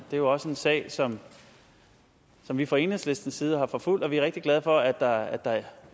er jo også en sag som vi fra enhedslistens side har forfulgt og vi er rigtig glade for at der er